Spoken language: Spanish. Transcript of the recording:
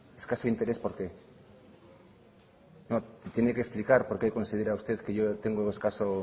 escaso interés por qué no me tiene que explicar por qué considera usted que yo tengo escaso